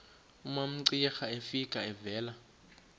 umamcira efika evela